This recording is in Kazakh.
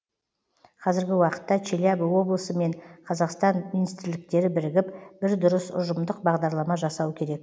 қазіргі уақытта челябі облысы мен қазақстан министрліктері бірігіп бір дұрыс ұжымдық бағдарлама жасау керек